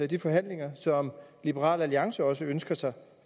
de forhandlinger som liberal alliance også ønsker sig